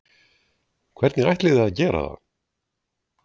Hvernig ætlið þið að gera það?